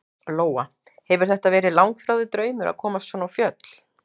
Lóa: Hefur þetta verið langþráður draumur að komast svona á fjöll?